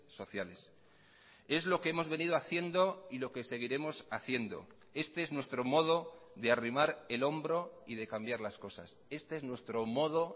sociales es lo que hemos venido haciendo y lo que seguiremos haciendo este es nuestro modo de arrimar el hombro y de cambiar las cosas este es nuestro modo